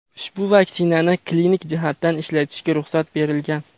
ushbu vaksinani klinik jihatdan ishlatishga ruxsat berilgan.